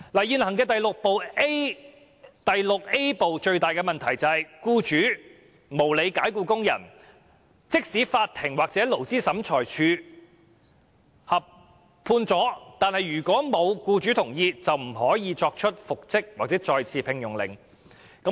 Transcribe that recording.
現行《僱傭條例》第 VIA 部的最大問題，就是在僱主無理解僱工人的情況下，法庭或勞資審裁處如無僱主同意，不可作出復職或再次聘用的命令。